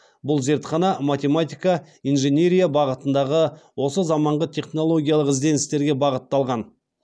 бұл зартхана математика инженерия бағытындағы осы заманғы технологиялық ізденістерге бағытталған